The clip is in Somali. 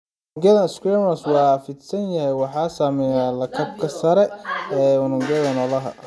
Unugyada squamous waa fidsan waxayna sameeyaan lakabka sare ee unugyada noolaha.